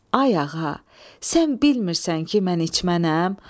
Ay ağa, sən bilmirsən ki mən içmənəm?